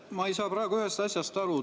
Ma ei saa praegu ühest asjast aru.